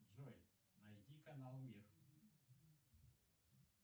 джой найди канал мир